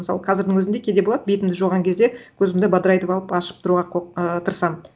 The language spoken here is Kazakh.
мысалы қазірдің өзінде кейде болады бетімді жуған кезде көзімді бадырайтып алып ашып тұруға ааа тырысамын